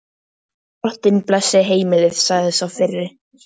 Drottinn blessi heimilið, sagði sá fyrri.